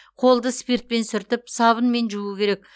қолды спиртпен сүртіп сабынмен жуу керек